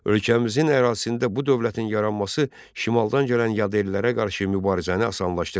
Ölkəmizin ərazisində bu dövlətin yaranması şimaldan gələn yad ellərə qarşı mübarizəni asanlaşdırır.